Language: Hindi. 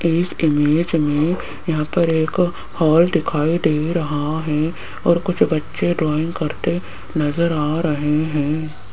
इस इमेज में यहां पर एक हॉल दिखाई दे रहा है और कुछ बच्चे ड्राइंग करते नजर आ रहे हैं।